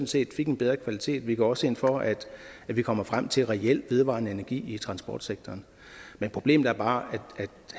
set fik en bedre kvalitet vi går også ind for at vi kommer frem til reel vedvarende energi i transportsektoren men problemet er bare